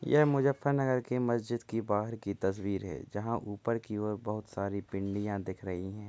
यह मुजफ्फरनगर की मस्जिद की बाहर की तस्वीर है जहाँ ऊपर की और बहुत सारी पिंडिया दिख रही हैं|